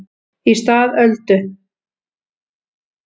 Í stað Öldu